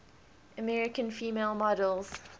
american female models